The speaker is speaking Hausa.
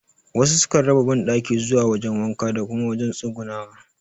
Wasu su kan raba banɗaki zuwa wajen wanka da kuma wajen tsugunawa